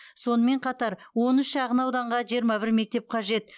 сонымен қатар он үш шағын ауданға жиырма бір мектеп қажет